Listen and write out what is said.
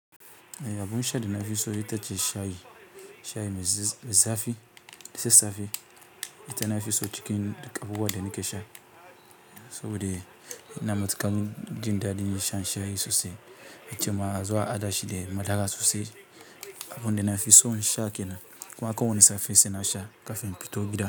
Abun sha da na fi so ita ce shayi. Shayi mai zafi, da sassafe, ita na fi so cikin duk abubuwan da nake sha. Saboda ina matuƙar jin daɗin shan shayi sosai. Ita ma zuwa a haɗashi da madara sosai. Abun da na fi so in sha ke nan, kuma a ko wane safe sai na sha kafin in fito gida.